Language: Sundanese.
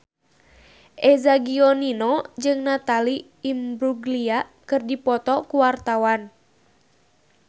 Eza Gionino jeung Natalie Imbruglia keur dipoto ku wartawan